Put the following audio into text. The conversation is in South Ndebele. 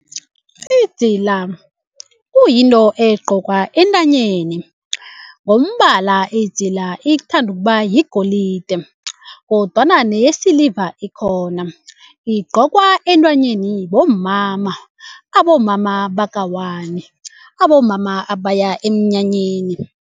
Idzila kuyinto egcokwa entanyeni ngombala idzila ithanda ukubayigolide kodwana neyesiliva ikhona. Igcokwa entanyeni bomama abomama baka-one abomama abaya emnyanyeni.